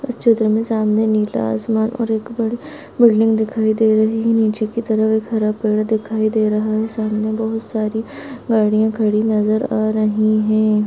इस चित्र में सामने नीला आसमान और एक बड़ी बिल्डिंग दिखायी दे रही है नीचे की तरफ हरा पेड़ दिखाई दे रहा है सामने बहुत सारी गाड़िया खड़ी नज़र आ रही हैं।